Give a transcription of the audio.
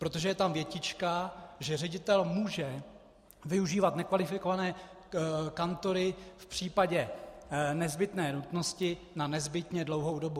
Protože je tam větička, že ředitel může využívat nekvalifikované kantory v případě nezbytné nutnosti na nezbytně dlouhou dobu.